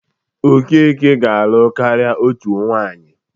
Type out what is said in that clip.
Okeke ga-alụ karịa otu nwaanyị.